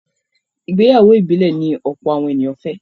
Ìgbéyàwó ìbílẹ̀ ni ọ̀pọ̀ àwọn ènìyàn fẹ́.